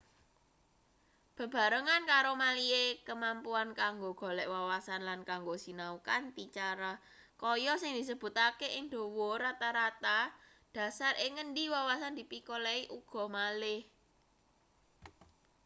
bebarengan karo malihe kemampuan kanggo golek wawasan lan kanggo sinau kanthi cara kaya sing disebutake ing dhuwur rata-rata dhasar ing ngendi wawasan dipikolehi uga malih